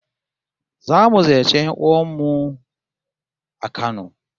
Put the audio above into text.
Zamu ziyarci 'yan'uwan mu a Kano